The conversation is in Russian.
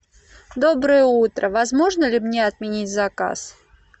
доброе утро возможно ли мне отменить заказ